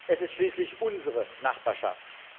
Es ist schließlich unsere Nachbarschaft.